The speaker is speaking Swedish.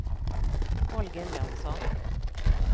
Holger Jönsson